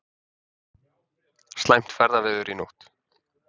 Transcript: Slæmt ferðaveður í nótt